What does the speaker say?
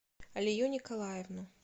алию николаевну